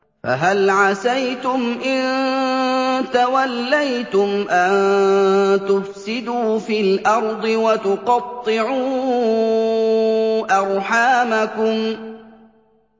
فَهَلْ عَسَيْتُمْ إِن تَوَلَّيْتُمْ أَن تُفْسِدُوا فِي الْأَرْضِ وَتُقَطِّعُوا أَرْحَامَكُمْ